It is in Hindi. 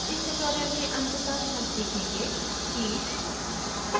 इस ट्यूटोरियल के अंत में हम सीखेंगे कि: